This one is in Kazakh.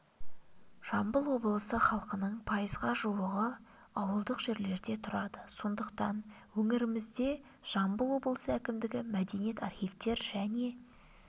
жамбыл облысы халқының пайызға жуығы ауылдық жерлерде тұрады сондықтан өңірімізде жамбыл облысы әкімдігі мәдениет архивтер және